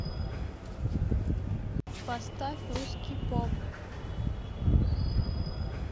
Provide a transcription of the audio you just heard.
поставь русский поп